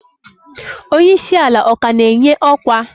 Onye isi ala ọ ka na-enye ọkwa?